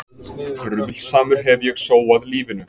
Bruðlsamur hef ég sóað lífinu.